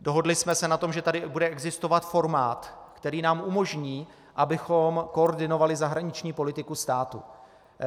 Dohodli jsme se na tom, že tady bude existovat formát, který nám umožní, abychom koordinovali zahraniční politiku státu.